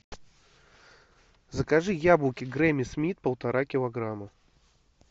закажи яблоки гренни смит полтора килограмма